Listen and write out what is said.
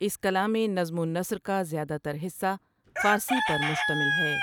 اس کلامِ نظم ونثر کا زیادہ تر حصہ فارسی پر مشتمل ہے ۔